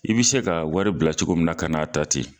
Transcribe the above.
I bɛ se ka wari bila cogo min na ka n' a ta ten